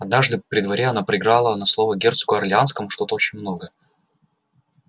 однажды при дворе она проиграла на слово герцогу орлеанскому что-то очень много